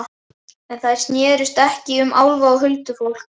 En þær snerust ekki um álfa og huldufólk.